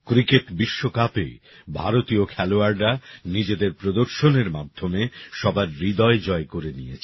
cricket বিশ্বকাপে ভারতীয় খেলোয়াড়রা নিজেদের প্রদর্শনের মাধ্যমে সবার হৃদয় জয় করে নিয়েছে